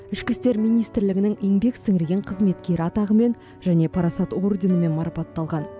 ішкі істер министрлігінің еңбек сіңірген қызметкері атағымен және парасат орденімен марапатталған